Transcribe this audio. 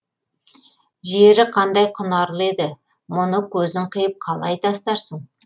жері қандай құнарлы еді мұны көзің қиып қалай тастарсың